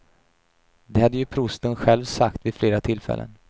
Det hade ju prosten själv sagt vid flera tillfällen.